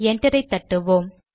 என்டரை தட்டுவோம்